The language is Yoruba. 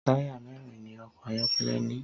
Tàyá mẹrin ni ọkọ ayọkẹlẹ ni